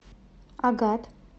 агат